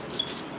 Bu da.